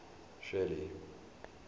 shelly